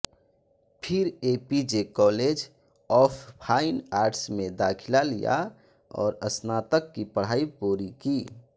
फिर APJ college of fine arts में दाखिला लिया और स्नातक की पढ़ाई पूरी की